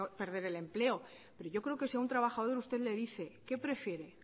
perder el empleo pero yo creo que si a un trabajador usted le dice qué prefiere